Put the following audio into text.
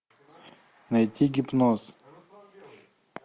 найти гипноз